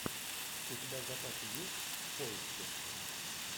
у тебя в запасе есть в поиске